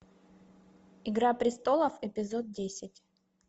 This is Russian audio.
игра престолов эпизод десять